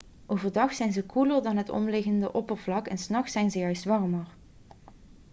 overdag zijn ze koeler dan het omliggende oppervlak en s nachts zijn ze juist warmer